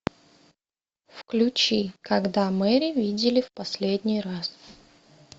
включи когда мэри видели в последний раз